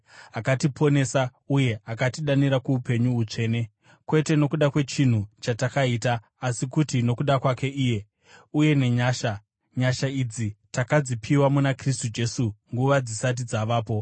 akatiponesa uye akatidanira kuupenyu hutsvene, kwete nokuda kwechinhu chatakaita asi kuti nokuda kwake iye, uye nenyasha. Nyasha idzi takadzipiwa muna Kristu Jesu nguva dzisati dzavapo,